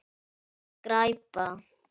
Það var skræpa.